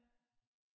Ja